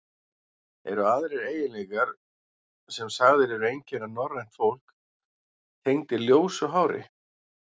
Eru aðrir eiginleikar, sem sagðir eru einkenna norrænt fólk, tengdir ljósu hári?